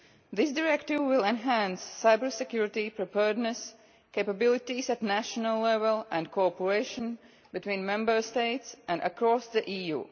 This Directive will enhance cybersecurity preparedness, capabilities at national level and cooperation between Member States and across the EU.